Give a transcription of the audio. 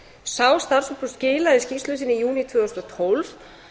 sá starfshópur skilaði skýrslu sinni í júní tvö þúsund og tólf